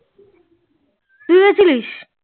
তুই গেছিলিস?